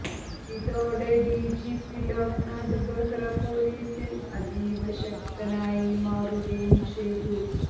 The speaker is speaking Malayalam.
ഇതോടെ ഡിജിപി ലോക്നാഥ് ബെഹ്റ പൊലീസിൽ അതീവ ശക്തനായി മാറുകയും ചെയ്തു